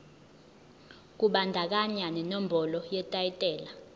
kubandakanya nenombolo yetayitela